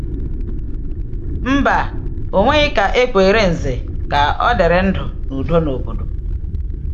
Mba, e nweghị ka e kwere Ǹzè ka ọ dịrị ndụ n’udo n’obodo.